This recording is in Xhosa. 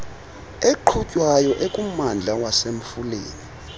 eqhutywayo ekummandla wasemfuleni